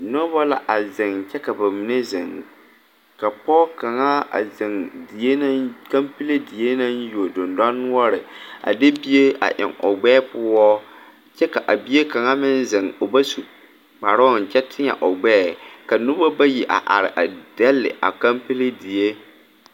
Nobɔ la a zeŋ kyɛ ka ba mine zeŋ ka pɔɔ kaŋa a zeŋ die naŋ kampile die naŋ yuo dendanoɔre a de bie a eŋ o gbɛɛ poɔ kyɛ ka a bie kaŋa meŋ zeŋ o ba su kparoo kyɛ tēɛ o gbɛɛ ka nobɔ bayi a are dɛle a kampile die.